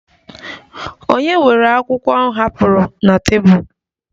Ònye were akwụkwọ m hapụrụ na tebụl?